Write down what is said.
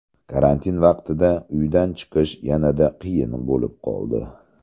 Karantin vaqtida uydan chiqish yanada qiyin bo‘lib qoldi.